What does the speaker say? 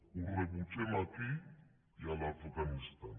ho rebutgem aquí i a l’afganistan